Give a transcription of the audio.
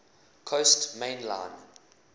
coast main line